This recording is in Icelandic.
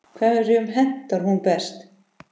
Hverjum hentar hún best?